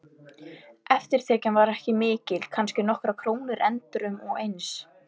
Eftirtekjan var ekki mikil, kannski nokkrar krónur endrum og eins.